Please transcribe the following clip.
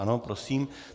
Ano, prosím.